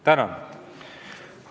Tänan!